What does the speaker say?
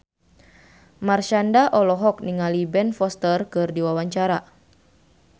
Marshanda olohok ningali Ben Foster keur diwawancara